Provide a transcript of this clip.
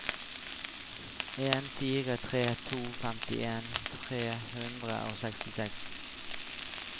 en fire tre to femtien tre hundre og sekstiseks